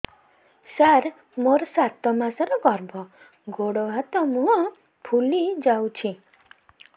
ସାର ମୋର ସାତ ମାସର ଗର୍ଭ ଗୋଡ଼ ହାତ ମୁହଁ ଫୁଲି ଯାଉଛି